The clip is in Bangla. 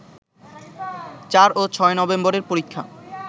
৪ ও ৬ নভেম্বরের পরীক্ষা